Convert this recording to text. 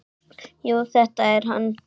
Jú, þetta er hann.